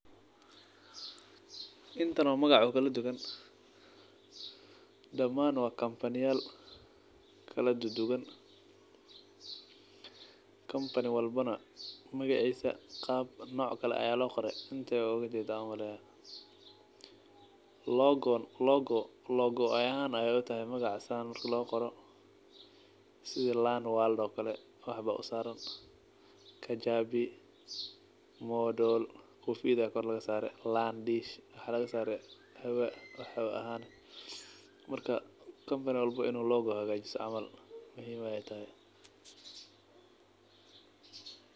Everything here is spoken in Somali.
Intan oo magac oo kaladuwan daman wa comany-yal kaldudugan , company walbo na qab noc kale ayaa loqore , inta waujedaah umaleyaah. Logo logo ahan ay utahay magaca marka sas loqoro sida lan world oo kale waxba usaran, kajabi modol ida kor lagasare landish waxa lagasare marka company walbo in uu logo hagajisto camal.